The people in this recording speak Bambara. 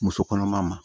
Muso kɔnɔma ma